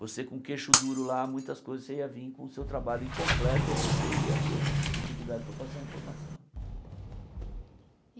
Você com queixo duro lá, muitas coisas você ia vir com o seu trabalho incompleto ou você ia ter dificuldade para passar a informação.